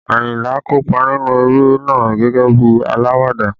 Ayinla kópa nínú eré náà gẹ́gẹ́ bí alawada